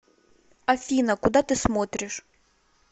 афина куда ты смотришь